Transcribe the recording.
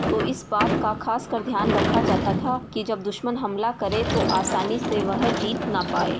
तो इस बात का खास कर ध्यान रखा जाता था कि जब दुश्मन हमला कर तो आसानी से वह जीत ना पाए।